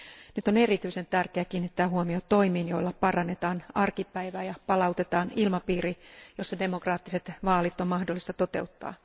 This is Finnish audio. Nyt on erityisen tärkeää kiinnittää huomio toimiin, joilla parannetaan arkipäivää ja palautetaan ilmapiiri, jossa demokraattiset vaalit on mahdollista toteuttaa.